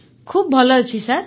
ଅପର୍ଣ୍ଣା ଖୁବ ଭଲ ଅଛି ସାର୍